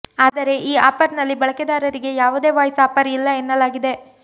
ಆದರೆ ಈ ಆಫರ್ನಲ್ಲಿ ಬಳಕೆದಾರರಿಗೆ ಯಾವುದೇ ವಾಯ್ಸ್ ಆಫರ್ ಇಲ್ಲ ಎನ್ನಲಾಗಿದೆ